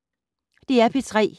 DR P3